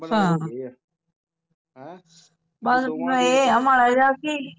ਹਾਂ ਹੁਣ ਬਸ ਮਾੜਾ ਜਿਹਾ ਕਿ